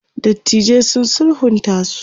dattijan sun sulhunta su